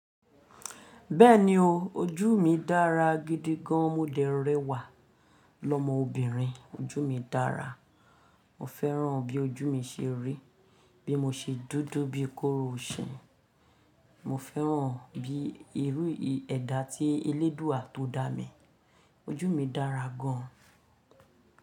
Bẹ́ẹ̀ni o, ojú mi dára gidi gan. Mo dẹ̀ rẹwà lọmọbìnrin. Ojú mi dára. Mo fẹ́ràn bí ojú mi ṣe rí, bí mo ṣe dúdú bíi kóró iṣin. Mo fẹ́ràn bí irú ẹda tí elédùúà tó dá mi. Ojú mi dára gan.